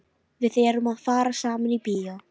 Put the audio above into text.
Við erum að fara saman í bíó!